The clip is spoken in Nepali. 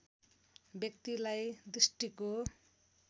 व्यक्तिलाई दृष्टिको